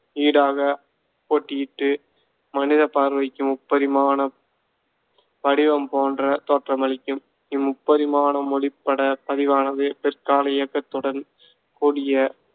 ஈடாகப் போட்டியிட்டு மனிதப் பார்வைக்கு முப்பரிமாண வடிவம் போன்ற தோற்றமளிக்கும். இம்முப்பரிமாணப் மொழிப்பட பதிவானது பிற்கால இயக்கத்துடன் கூடிய